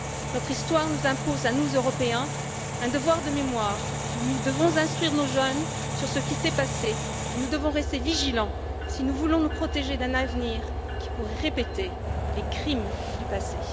Notre histoire nous impose à nous, Européens, un devoir de mémoire. Nous devons instruire nos jeunes sur ce qui s'est passé, et nous devons rester vigilants si nous voulons nous protéger d'un avenir qui pourrait répéter les crimes du passé.